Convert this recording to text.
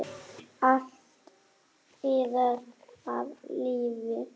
Allt iðar af lífi.